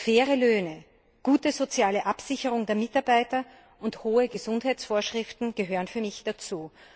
Faire Löhne, gute soziale Absicherung der Mitarbeiter und hohe Gesundheitsvorschriften gehören für mich dazu.